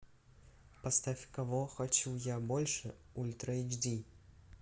поставь кого хочу я больше ультра эйч ди